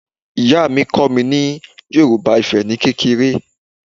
Ìyá mi kọ́ mi ní Yorùbá Ifẹ̀ ni kékeré